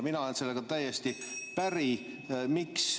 Mina olen sellega täiesti päri.